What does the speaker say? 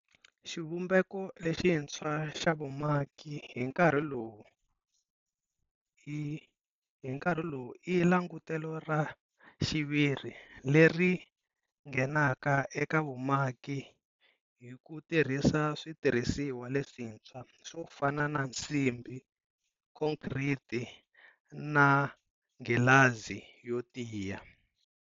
Xivumbeko lexintshwa xa vumaki hi nkarhi lowu i langutelo ra xiviri leri nghenaka eka vumaki hi ku tirhisa switirhisiwa leswintshwa swo fana na nsimbi, khonkhriti, na nghilazi yo tiya.